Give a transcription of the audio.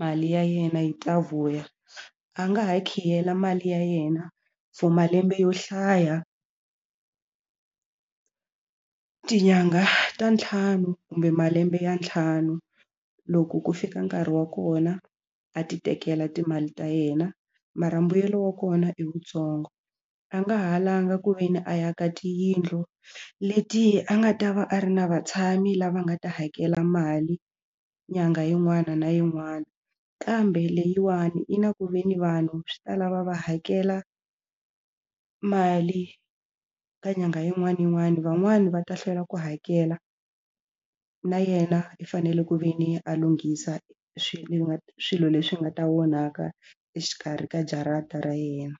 mali ya yena yi ta vuya a nga ha khiyela mali ya yena for malembe yo hlaya tinyangha ta ntlhanu kumbe malembe ya ntlhanu loko ku fika nkarhi wa kona a ti tekela timali ta yena mara mbuyelo wa kona i wuntsongo a nga ha langha ku ve ni a aka tiyindlu leti a nga ta va a ri na vatshami lava nga ta hakela mali nyangha yin'wana na yin'wana kambe leyiwani yi na ku ve ni vanhu swi ta lava va hakela mali ka nyangha yin'wana na yin'wana van'wani va ta hlwela ku hakela na yena i fanele ku ve ni a lunghisa swilo leswi nga ta onhaka exikarhi ka jarata ra yena.